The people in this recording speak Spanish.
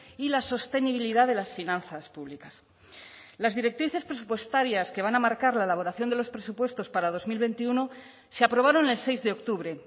y la sostenibilidad de las finanzas públicas las directrices presupuestarias que van a marcar la elaboración de los presupuestos para dos mil veintiuno se aprobaron el seis de octubre